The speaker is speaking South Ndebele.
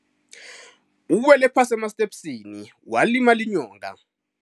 Uwela phasi emastepisini walima inyonga.